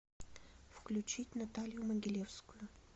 включить наталью могилевскую